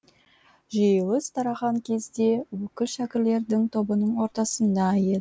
жиылыс тараған кезде өкіл шәкірлердің тобының ортасында еді